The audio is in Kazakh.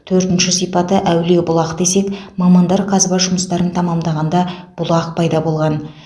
төртінші сипаты әулие бұлақ десек мамандар қазба жұмыстарын тәмамдағанда бұлақ пайда болған